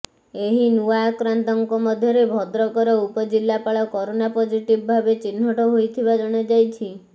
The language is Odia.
ଏହି ନୂଆ ଆକ୍ରାନ୍ତଙ୍କ ମଧ୍ୟରେ ଭଦ୍ରକର ଉପଜିଲ୍ଲପାଳ କରୋନା ପଜିଟିଭ ଭାବେ ଚିହ୍ନଟ ହୋଇଥିବା ଜଣା ଯାଇଛି